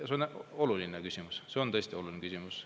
See on oluline küsimus, see on tõesti oluline küsimus.